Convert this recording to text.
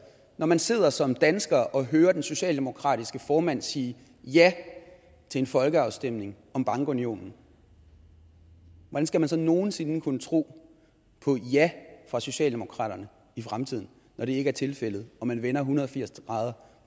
når man sidder som dansker og hører den socialdemokratiske formand sige ja til en folkeafstemning om bankunionen hvordan skal man så nogen sinde kunne tro på et ja fra socialdemokratiet i fremtiden når det ikke er tilfældet og man vender en hundrede og firs grader